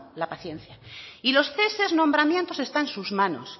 la paciencia y los ceses nombramientos está en sus manos